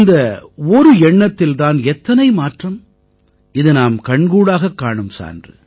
இந்த ஒரு எண்ணத்தில் தான் எத்தனை மாற்றம் இது நாம் கண்கூடாகக் காணும் சான்று